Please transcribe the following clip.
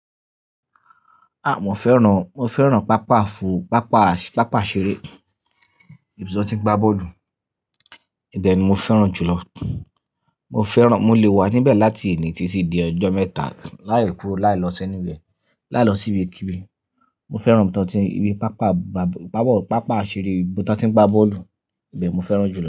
À, mo fẹ́ràn, mo fẹ́ràn pápá fù, pápá, pápá iṣeré ìbi tí woń ti n gba bọ́ọ̀lù. Ìbẹ̀ ni mo fẹ́ràn jùlọ. Mo fẹ́ràn, mo lè wà níbẹ̀ láti èní títi di ọjọ́ mẹ́ta láì kúro láì lọ si anywhere, láì lọ síibi kíbi. Mo fẹ́ràn ìbi tí won ti n ìbi pápá ba, pápá, pápá iṣeré ìbi tí wọ́n tí ń gba bọ́ọ̀lù, ìbẹ̀ mo fẹ́ràn jù lọ.